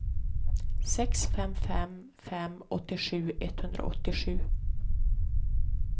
sex fem fem fem åttiosju etthundraåttiosju